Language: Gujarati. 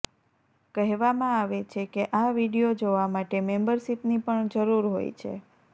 કહેવામાં આવે છે કે આ વીડિયો જોવા માટે મેમ્બરશીપની પણ જરૂર હોય છે